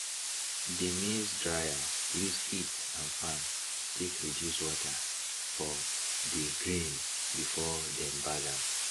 dey maize dryer use heat and fan take reduce water for dey grain before dem bag am